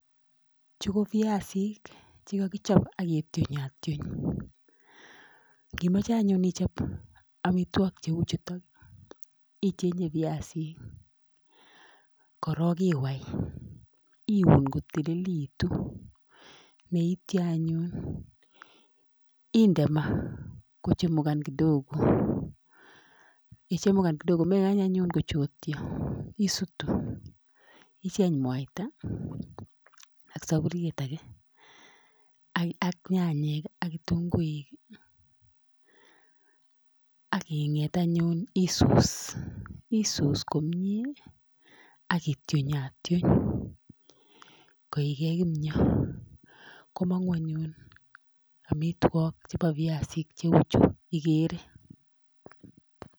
Chu ko biasik chekokichob ak kitionyotiony. Yon iimoche anyun ichob amitwogiichu ichenge biasik, korong iwai, iun kotililekitun neityo anyun indeed maa kochumugan kidogoo, yechumugan kidogo mekany anyun kochotyoo. Isutu icheng mwaita ak sopuriet age, ak nyanyik ak kitung'uik ak inget anyun isuus. Isuus komie ak itionyotiony koige kimio, komongung anyun amitwogiik chebo biasik cheuchu igere .